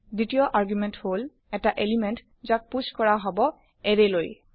second argument হল এটা element যাক পুষ কৰা হব এৰে লৈ